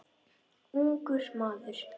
Ungur maður.